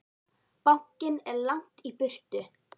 Bankinn er langt í burtu.